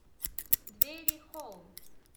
дверихолл